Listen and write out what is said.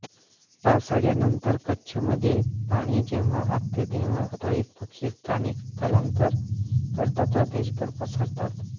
पावसाळ्यानंतर कच्छमध्ये पाणी जेव्हा आटते तेव्हा रोहित पक्षी स्थानिक स्थलांतर करतात व देशभर पसरतात